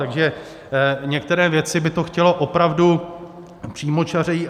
Takže některé věci by to chtělo opravdu přímočařeji.